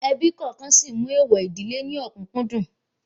Ebí kọ̀ọ̀kan sí mú èèwọ̀ ìdílé ní òkùǹkùn dùn